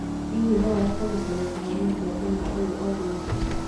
Hihi no ũhote gũcaria kĩhonia kĩa thĩna ũyũ o rĩu?